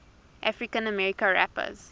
african american rappers